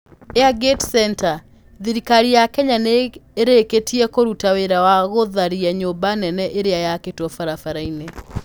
Airgate Centre: Thirikari ya Kenya nĩ ĩrĩkĩtie kũruta wĩra wa gũtharia nyũmba nene ĩrĩa yakĩtwo barabara-inĩ